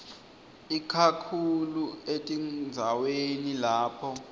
ikakhulu etindzaweni lapho